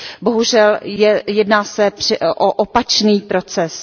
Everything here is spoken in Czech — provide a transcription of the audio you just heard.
Bohužel jedná se o opačný proces.